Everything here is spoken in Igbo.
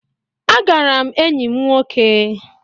Agara m enyi m nwoke